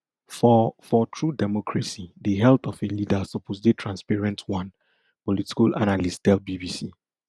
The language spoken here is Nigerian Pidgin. for for true democracy di health of a leader suppose dey transparent one political analyst tell bbc